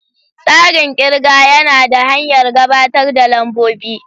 Tsarin ƙirga yana da hanyar gabatar da lambobi.